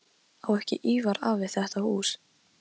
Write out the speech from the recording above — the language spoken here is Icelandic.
Spýttist blóð úr búknum en vall úr höfðinu.